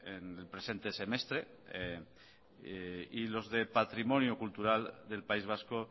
en el presente semestre y los de patrimonio cultural del país vasco